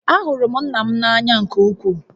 Ahụrụ m nna m n'anya nke ukwuu